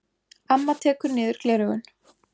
Amma tekur niður gleraugun.